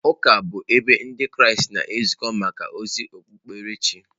Ụka bụ ebe Ndị Kraịst na-ezukọ maka ozi okpukperechi.